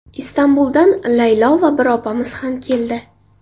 Istanbuldan Laylo va bir opamiz ham keldi.